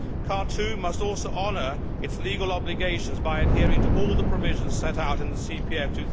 Khartoum must also honour its legal obligations by adhering to all the provisions set out in the CPA of